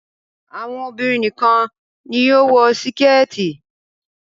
Àwọn obìrin nìkan ní yóò wò Síkẹ́tì.